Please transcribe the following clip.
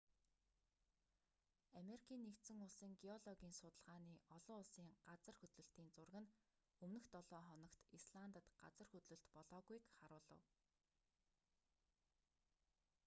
америкийн нэгдсэн улсын геологийн судалгааны олон улсын газар хөдлөлтийн зураг нь өмнөх долоо хоногт исландад газар хөдлөлт болоогүйг харуулав